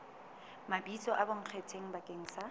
mabitso a bonkgetheng bakeng sa